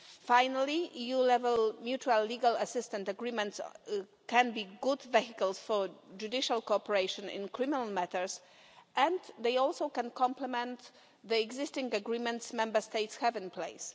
Finally, EU level mutual legal assistance agreements can be good vehicles for judicial cooperation in criminal matters and they can also complement the existing agreements Member States have in place.